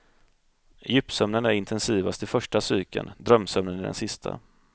Djupsömnen är intensivast i första cykeln, drömsömnen i den sista.